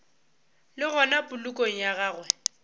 le gona polokong ya gagwe